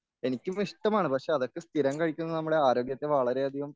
എനിക്കും ഇഷ്ടമാണ് പക്ഷേ അതൊക്കെ സ്ഥിരം കഴിക്കുന്നത് നമ്മുടെ ആരോഗ്യത്തെ വളരെയധികം